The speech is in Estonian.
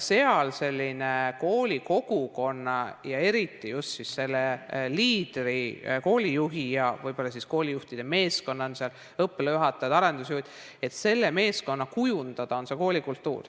Koolikogukonna ja eriti just selle liidri, koolijuhi ja võib-olla koolijuhtide meeskonna, kes seal on, õppealajuhatajad, arendusjuhid, selle meeskonna kujundada on koolikultuur.